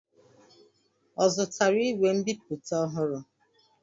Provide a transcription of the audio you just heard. Ọ zụtara igwe nbipute ọhụrụ?